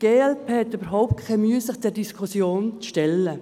Die glp hat überhaupt keine Mühe, sich dieser Diskussion zu stellen.